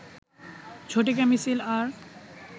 ঝটিকা মিছিল আর